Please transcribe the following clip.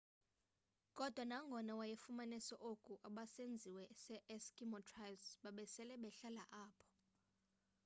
kodwa nangona wayefumanise oku abesizwe se eskimo tribes babesele behlala apho